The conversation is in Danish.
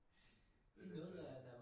Hvad hedder det